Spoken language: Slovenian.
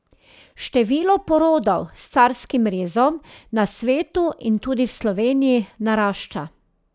Število porodov s carskim rezom na svetu in tudi v Sloveniji narašča.